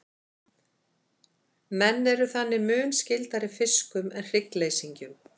menn eru þannig mun skyldari fiskum en hryggleysingjum